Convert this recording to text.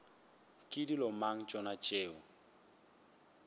ke dilo mang tšona tšeo